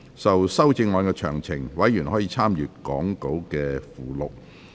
就修正案詳情，委員可參閱講稿附錄。